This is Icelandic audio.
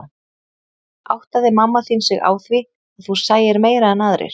Áttaði mamma þín sig á því að þú sæir meira en aðrir?